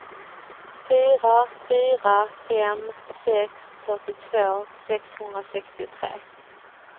fyra fyra fem sex fyrtiotvå sexhundrasextiotre